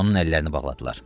Onun əllərini bağladılar.